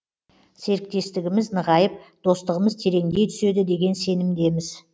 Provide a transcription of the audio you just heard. серіктестігіміз нығайып достығымыз тереңдей түседі деген сенімдеміз